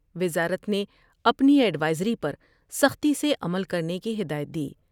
وزارت نے اپنی ایڈوئزری پر سختی سے عمل کرنے کی ہدایت دی ۔